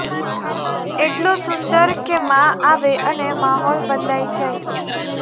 એટલો સુંદર કે મા આવે અને માહોલ બદલાઈ જાય